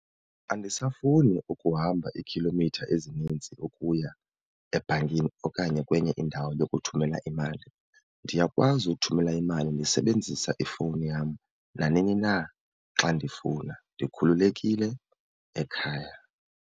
Andisafuni ukuhamba iikhilomitha ezininzi ukuya ebhankini okanye kwenye indawo yokuthumela imali. Ndiyakwazi ukuthumela imali ndisebenzisa ifowuni yam nanini na xa ndifuna, ndikhululekile ekhaya.